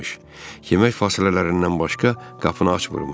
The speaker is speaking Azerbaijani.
Yemək fasilələrindən başqa qapını açmırmış.